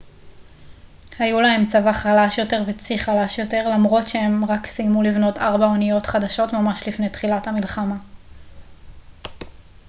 היו להם צבא חלש יותר וצי חלש יותר למרות שהם רק סיימו לבנות ארבע אניות חדשות ממש לפני תחילת המלחמה